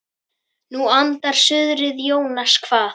Nú andar suðrið Jónas kvað.